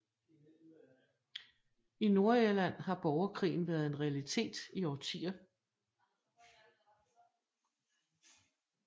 I Nordirland har borgerkrigen været en realitet i årtier